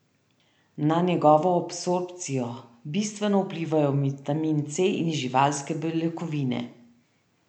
Na njegovo absorpcijo bistveno vplivajo vitamin C in živalske beljakovine.